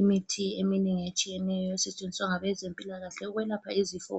lmithi eminengi etshiyeneyo esetshenziswa ngabezempilakahle ukwelapha izifo